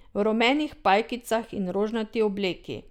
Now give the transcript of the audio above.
V rumenih pajkicah in rožnati obleki.